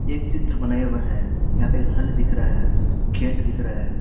एक चित्र बनाया हुआ है यहां पे हल दिख रहा है खेत दिख रहा है।